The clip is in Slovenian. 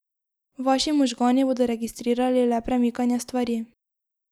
Vaši možgani bodo registrirali le premikanje stvari.